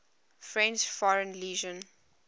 french foreign legion